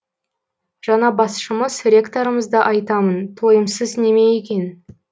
жаңа басшымыз ректорымызды айтамын тойымсыз неме екен